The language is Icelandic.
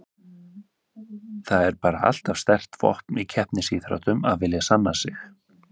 Það er bara alltaf sterkt vopn í keppnisíþróttum að vilja sanna sig.